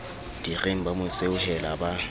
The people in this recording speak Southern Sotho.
direng ba mo seohela ba